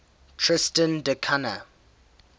tristan da cunha